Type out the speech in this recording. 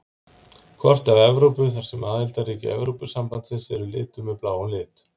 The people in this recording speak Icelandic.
Kort af Evrópu þar sem aðildarríki Evrópusambandsins eru lituð með bláum lit.